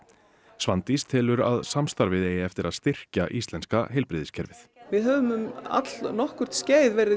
Svandís telur að samstarfið eigi eftir að styrkja íslenska heilbrigðiskerfið við höfum um allnokkurt skeið verið